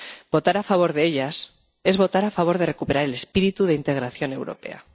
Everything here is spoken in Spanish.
Votar a favor de ellas es votar a favor de recuperar el espíritu de integración europea.